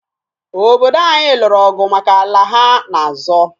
Obodo anyị lụrụ ọgụ maka ala ha na-azọ.